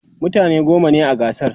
mutane goma ne a gasar